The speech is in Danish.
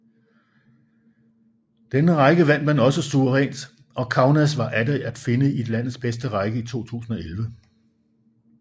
Denne række vandt man også suverænt og Kaunas var atter at finde i landets bedste række i 2011